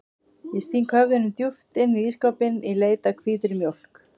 Ég sting höfðinu djúpt inn í ísskápinn í leit að hvítri mjólk.